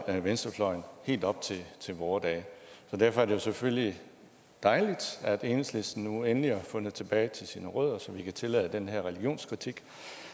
venstrefløjen helt op til vore dage derfor er det jo selvfølgelig dejligt at enhedslisten nu endelig har fundet tilbage til sine rødder så vi kan tillade den her religionskritik